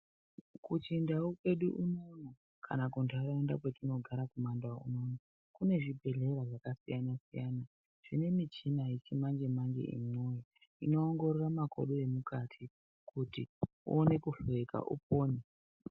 Kuchindau kwedu unono kana kuntaraunda kwetinogara kumandau unono kune zvibhedhlera zvakasiyana siyana zvine michina yechimanje manje yemwoyo inoongorora makodo emutati kuti uone kuhloyeka upone.